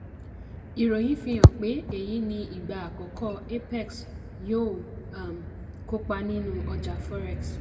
ìròyìn fi hàn pé èyí ni ìgbà àkọ́kọ́ apex yóò um kópa nínú ọjà forex.